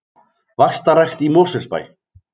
Vaxtarrækt í Mosfellsbæ